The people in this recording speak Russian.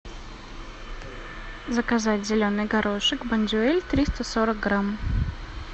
заказать зеленый горошек бондюэль триста сорок грамм